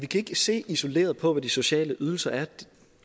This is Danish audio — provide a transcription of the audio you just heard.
kan se isoleret på hvad de sociale ydelser er